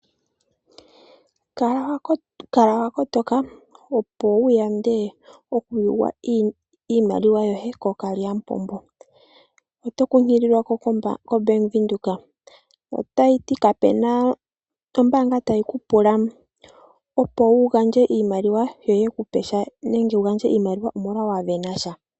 Kala wa kotoka opo wu yande oku yugwa iimaliwa yoye kookalyamupombo. Oto kunkililwa ko koBank Windhoek otayi ti kapena ombanga tayiku pula iimaliwa yoye kupesha nenge wu gandje iimaliwa omolwa wavena sha.